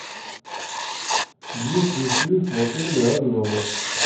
есть ли сейф в отеле орленок